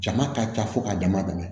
Jama ka ca fo k'a dama dama